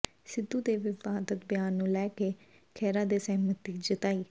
ਸਿੱਧੂ ਦੇ ਵਿਵਾਦਤ ਬਿਆਨ ਨੂੰ ਲੈ ਕੇ ਖਹਿਰਾ ਨੇ ਸਹਿਮਤੀ ਜਤਾਈ